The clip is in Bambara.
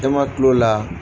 E man kil'o la.